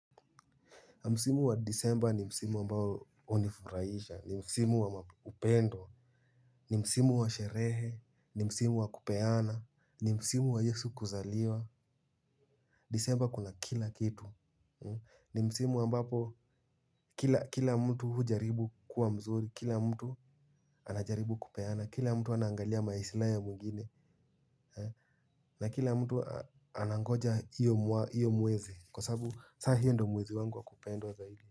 Msimu wa disemba ni msimu ambao unifurahisha, ni msimu wa upendo, ni msimu wa sherehe, ni msimu wa kupeana, ni msimu wa yesu kuzaliwa. Disemba kuna kila kitu. Ni msimu ambapo kila mtu hujaribu kuwa mzuri, kila mtu anajaribu kupeana, kila mtu anangalia maisilai ya mwengine. Na kila mtu anangoja iyo mwezi kwa sababu sahiyo ndo mwezi wangu wa kupendwa wa zaidi.